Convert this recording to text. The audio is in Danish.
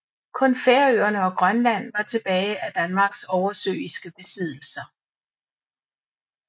Kun Færøerne og Grønland var tilbage af Danmarks oversøiske besiddelser